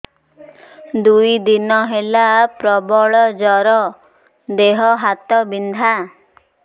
ଦୁଇ ଦିନ ହେଲା ପ୍ରବଳ ଜର ଦେହ ହାତ ବିନ୍ଧା